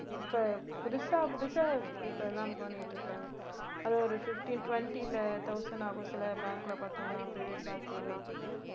இப்ப புதுசா புதுசா இப்பெல்லாம் பண்ணிட்டிருக்காங்க. அது ஒரு fifteen twenty ல thousand ஆகும் சில bank ல பார்த்தீங்கன்னா private bank ல எல்லாம்